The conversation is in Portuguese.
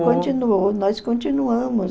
Continuou, nós continuamos.